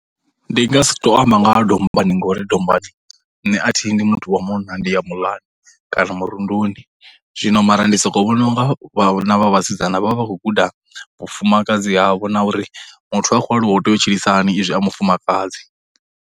Ndi nga si tou amba nga ha dombani ngori dombani nṋe a thi yi ndi muthu wa munna, ndi ya muḽani, kana murunduni. Zwino mara ndi sokou vhona unga vhana vha vhasidzana vha vha vha khou guda vhufumakadzi havho na uri muthu a khou aluwa ho tea u tshilisahani izwi a mufumakadzi.